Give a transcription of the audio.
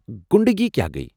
غُنڈٕگی کیٚاہ گیہ ؟